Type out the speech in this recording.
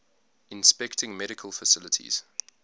inspecting medical facilities